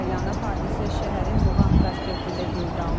Hadisə şəhərin Muğan prospektində qeydə alınıb.